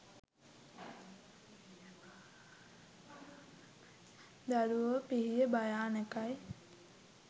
දරුවෝ පිහිය භයානකයි